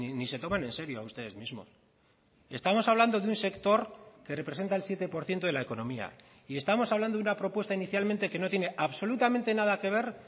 ni se toman en serio a ustedes mismos estamos hablando de un sector que representa el siete por ciento de la economía y estamos hablando de una propuesta inicialmente que no tiene absolutamente nada que ver